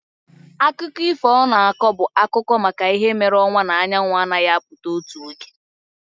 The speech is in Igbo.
Akụkọ ifo ọ na-akọ bụ maka ihe mere ọnwa na anyanwụ anaghị apụta otu oge.